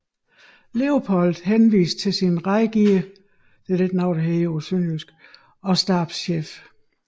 Leopold henviste til sin rådgiver og stabschef